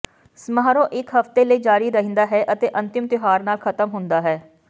ਸਮਾਰੋਹ ਇਕ ਹਫਤੇ ਲਈ ਜਾਰੀ ਰਹਿੰਦਾ ਹੈ ਅਤੇ ਅੰਤਿਮ ਤਿਉਹਾਰ ਨਾਲ ਖ਼ਤਮ ਹੁੰਦਾ ਹੈ